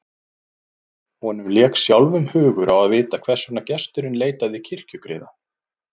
Honum lék sjálfum hugur á að vita hvers vegna gesturinn leitaði kirkjugriða.